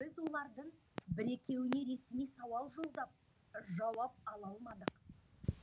біз олардың бір екеуіне ресми сауал жолдап жауап ала алмадық